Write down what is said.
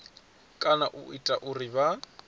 kana u ita uri vha